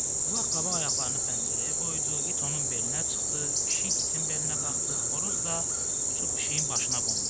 Ulaq qabaq ayaqlarını pəncərəyə qoydu, it onun belinə çıxdı, pişik itin belinə qalxdı, xoruz da uçub pişiyin başına qondu.